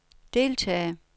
deltage